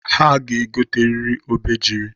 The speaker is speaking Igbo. Ha ga-egoteriri obejiri.